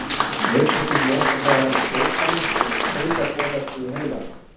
Nikótín losar meðal annars dópamín sem er taugaboðefni í heilanum.